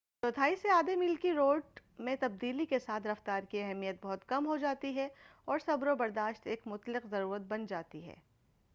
چوتھائی سے آدھے میل کی دوڑ میں تبدیلی کے ساتھ رفتار کی اہمیت بہت کم ہو جاتی ہے اور صبر و برداشت ایک مطلق ضرورت بن جاتی ہے